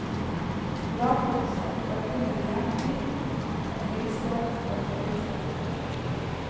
Gravgodset var kun en jernkniv, et ildstål og en flintflekke.